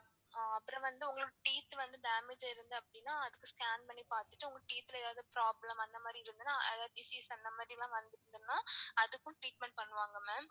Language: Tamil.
ஆஹ் அப்பறம் வந்து உங்களுக்கு teeth வந்து damage ஆ இருக்கு அப்டினா அதுக்கு scan பண்ணி பாத்துட்டு உங்க teeth ல எதாவது problem அந்த மாதிரி இருந்துதுனா அதாவது disease அந்த மாதிரிலாம் வந்துச்சுனா அதுக்கும் treatment பண்ணுவாங்க ma'am